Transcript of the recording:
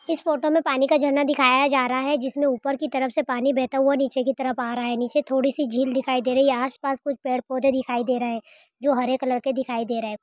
इस फोटो मे पानी का झरना दिखाया जा रहा है जिस मे ऊपर की तरफ से पानी बहता हुआ नीचे की तरफ आ रहा है नीचे थोड़ी सी झील दिखाई दे रही हैं आस पास कुछ पेड़ पौधे दिखाई दे रहे है जो हरे कलर के दिखाई दे रहे है।